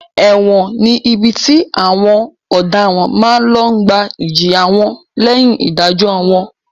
Ẹ̀wọ̀n ni ibi tí àwọn ọ̀daràn máa ń lọ gbà ìjìyà wọn lẹ́yìn ìdájọ́ wọn.